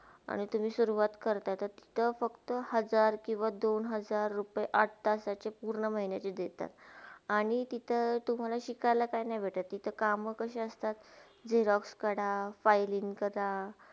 आणि तुम्ही सुरुवात करताय तिथे फक्त हजार किवा दोन हजार रुपय आठ तासाचे पूर्ण महिन्याचे देतात आणि तिथे तुम्हाला शिकायला काय नय भेटात तिथे कामा कशे असतात जे rough करा filing करा.